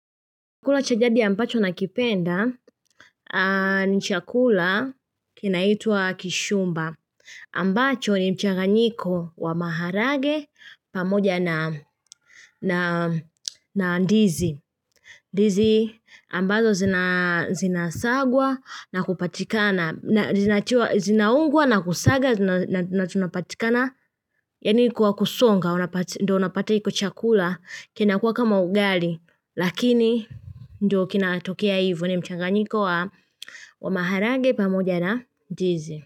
Chakula cha jadi ambacho nakipenda ni chakula kinaitwa kishumba ambacho ni mchanganyiko wa maharage pamoja na ndizi. Ndizi ambazo zinasagwa na kupatikana zinaungwa na kusaga na tunapatikana yani kwa kusonga. Ndo unapata iko chakula kinakuwa kama ugali lakini ndo kinatokea ivo ni mchanganyiko wa wa maharage pamoja na ndizi.